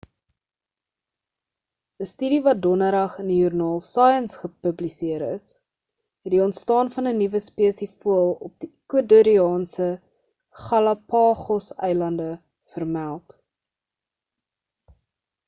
'n studie wat donderdag in die joernaal science gepubliseer is het die ontstaan van 'n nuwe spesie voël op die ecuadoriaanse galapagos eilande vermeld